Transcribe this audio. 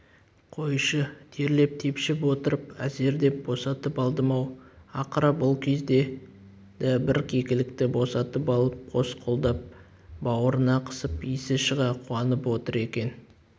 қойшы терлеп-тепшіп отырып әзер деп босатып алдым-ау ақыры бұл кезде да бір кекілікті босатып алып қос қолдап бауырына қысып есі шыға қуанып отыр екен